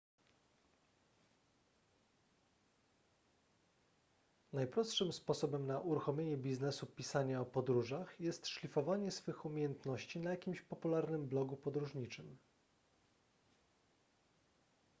najprostszym sposobem na uruchomienie biznesu pisania o podróżach jest szlifowanie swych umiejętności na jakimś popularnym blogu podróżniczym